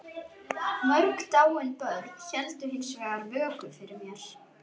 Mörg dáin börn héldu hins vegar vöku fyrir mér.